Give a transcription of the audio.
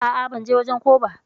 A'a ban je wajen ko ba.